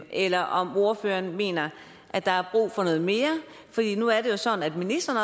eller om ordføreren mener at der er brug for noget mere nu er det jo sådan at ministeren